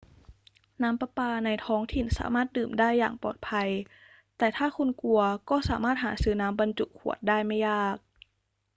น้ำประปาในท้องถิ่นสามารถดื่มได้อย่างปลอดภัย แต่ถ้าคุณกลัวก็สามารถหาซื้อน้ำบรรจุขวดได้ไม่ยาก